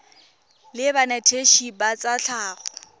la banetetshi ba tsa tlhago